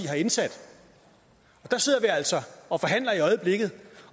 har indsat der sidder vi altså og forhandler i øjeblikket